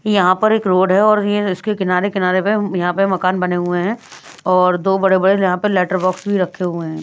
यहाँ पर एक रोड़ है और ये इसके किनारे-किनारे पे यहाँ पे मकान बने हुए हैं और दो बड़े-बड़े यहाँ पे लेटर बॉक्स भी रखे हुए हैं।